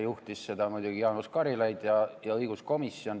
Juhtisid seda muidugi Jaanus Karilaid ja õiguskomisjon.